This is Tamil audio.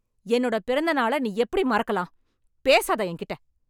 என்னோட பிறந்த நாள நீ எப்படி மறக்கலாம்? பேசாத என்கிட்ட.